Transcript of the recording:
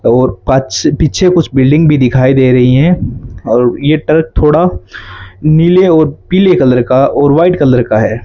और पाछ पीछे कुछ बिल्डिंग भी दिखाई दे रहीं है और ये ट्रक थोड़ा नीले और पीले कलर का और व्हाइट कलर का है।